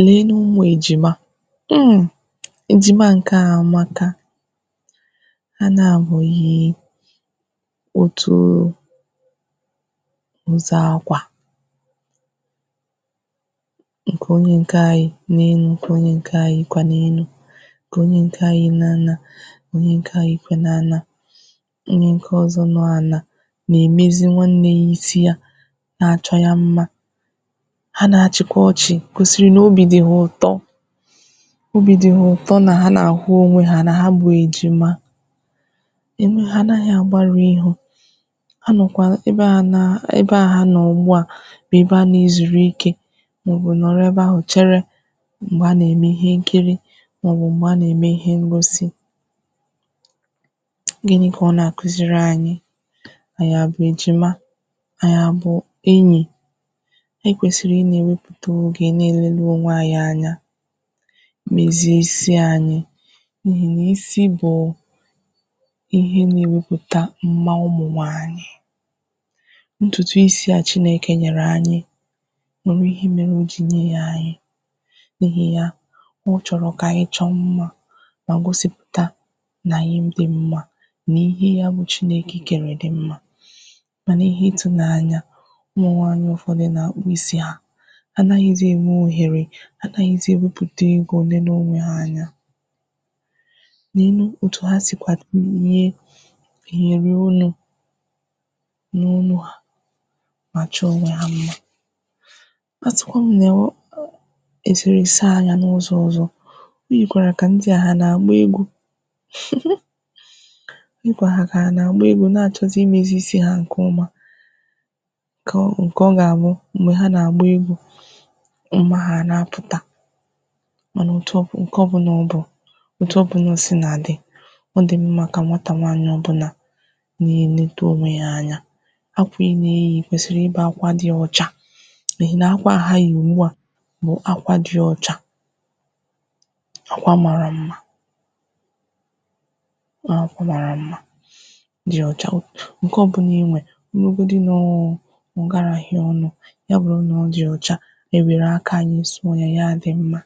I nenè ụmụ̀ ejimà um ejimà nke à amakà hà nabọ̀ yiì otù o nzà akwà nkè onyè nke à yì n’enù, bụkẁ nkè onyè nkà yikwà n’enù nkè onyè nkà yiì n’ànà onyè nkà yiì n’ànà onyè nkè ọzọ̀ nọ̀ ànà na-emezì nwannè yà isi yà na-achọ̀ yà mmà hà na-achịkwà ọchị̀ kwụ̀sịrị̀ n’obì dị̀ hà ụtọ̀ obì dị̀ hà ụtọ̀ nà hà na-ahụ̀ onwè hà nà hà bụ̀ ejimà enù hà anaghị̀ agbarụ̀ ihù a nọ̀kwà ebe à nà ebe à hà nọ̀ ugbu à bụ̀ ebe a na-ezùrù ike maọ̀bụ̀ nọ̀rọ̀ ebe ahụ̀ cherè m̄gbè a na-emè ihe nkirì maọ̀bụ̀ m̄gbè a na-emè ihe ngosì gịnị̀ kà ọ̀ na-akuzirì anyị̀ anyị̀ abụ̀ ejimà anyị̀ abụ̀ enyì e kwesirì inyerè tō ogè niilè leè onwè anyị̀ anya meziè isi anyị̀ n’ihì n’isi bụụ̀ ihe na-eweputà mmà ụmụ̀ nwaanyị̀ ntụtụ̀ isi a Chinekè nyerè anyị̀ nwerè ihe merè o jì nyè yà anyị̀ n’ihì yà ọ chọ̀rọ̀ kà anyị̀ chọ̀ mmà mà gosìpùtà nà anyịl dị̀ mmà n’ihe yà bụ̀ Chinekè kerè dị̀ mmà manà ihe ịtụ̀ n’anya ụmụ̀ nwaanyị̀ ụfọ̀dụ̀ na-akpụ̀ isi hà a naghịzị̀ enwè oherè a naghịzị̀ eweputà egō nenè onwè hà anya nenù otù hà sikwà tinyè iherè onù n’onù hà mà chọ̀ onwè hà mmà a sịkwà m na ọ̀ esere saa anya n’ụzọ̀ ọzọ̀ o yikwarà kà ndị̀ ndị̀ hà na-agbà egwu um o yikwarà kà hà na-agbà egwu na-achọ̀zì imezì isi hà nkè ọmà kọ̀, nkè ọ ga-abụ̀ m̄gbè hà na-agbà egwu mmà hà na-apụtà manà otù ọbụ̀, nkè ọ bụ̀nà ọ bụ̀ otù ọbụ̀nà o sì na-adị̀ ọ dị mmà kà nwatà nwaanyị̀ ọbụ̀nà na-enetè onwè yà anya akwà ị na-eyì kwesirì ịbụ̀ akwà dị̀ ọchà ị hị̀ n’akwà a hà yì ugbu à bụ̀ akwà dị̀ ọchà akwà marà mmà akwà marà mmà dị̀ ọchà, nkè ọ bụnà inwè ọ bụrụ̀godù nọọ̀ ọ garà hà ọnụ̀ yà bụ̀rụ̀ nà ọ dị̀ ọchà ewerè aka anyị̀ sụọ̀ yà, yà adị̀ mmà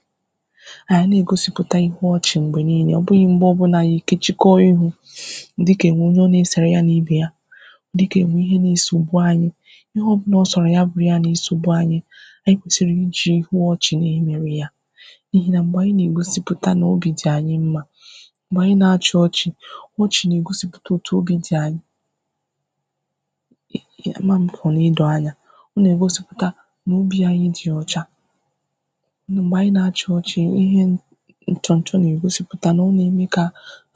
anyị̀ egosìputà ihù ọchè m̄gbè niinè, ọ bụghị̀ m̄gbè ọ bụalà anyị̀ ekochìkà ihù dịkà enwè onyè ọ na-eserè yà n’ibè yà dịkà enwè ihe na-esogbù anyị̀ anyị̀ kwesirì ijì ihù ọchị̀ na-emewè yà n’ihi nà m̄gbè anyị̀ na-egosiputà n’bì dị̀ anyị̀ mmà m̄gbè anyị̀ na-achị̀ ọchị̀ ọchị̀ na-egosipùtà otù obì dị̀ anyị̀ eeh, amà m kà ọ na-edò anya ọ na-egosìputà n’obì anyị̀ dị̀ ọchạ̀ m̄gbè anyị̀ na-achị̀ ọchị̀, ọ ihe nchọ̀ nchọ̀ na-egosìputà nà ọ na-emè kà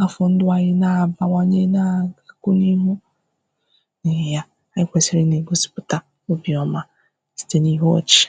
afọ̀ ndụ̀ anyị̀ na-abàwànyè naa kwụ̀ n’ihù n’ihi yà anyị̀ kwesirì ị na-egosiputà obì ọmà sitē n’ihù ọchị̀